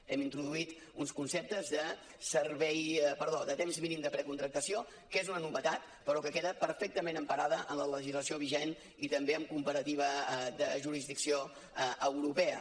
hem introduït uns conceptes de temps mínim de precontractació que és una novetat però que queda perfectament emparada en la legislació vigent i també en comparativa de jurisdicció europea